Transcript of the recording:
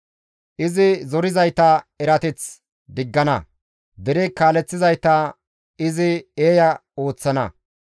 Izi zorizayta erateth diggana; dere kaaleththizayta izi eeya ooththana.